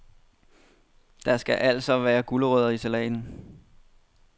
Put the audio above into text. Der skal alstå være gulerødder i salaten.